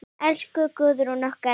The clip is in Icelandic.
Elsku Guðrún okkar.